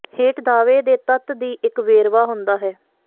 ਹੇਠ ਦਾਅਵੇ ਦੇ ਤੱਤ ਦੀ ਇੱਕ ਵੇਰਵਾ ਹੁੰਦਾ ਹੈ